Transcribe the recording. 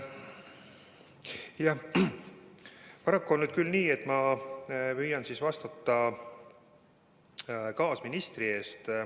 Jah, paraku on nüüd küll nii, et ma püüan vastata kaasministri eest.